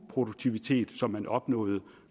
produktivitet som man opnåede